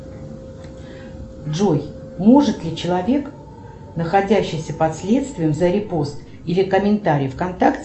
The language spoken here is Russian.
джой может ли человек находящийся под следствием за репост или комментарий в контакте